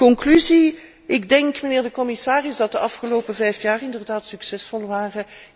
Conclusie ik denk, mijnheer de commissaris, dat de afgelopen vijf jaar inderdaad succesvol waren.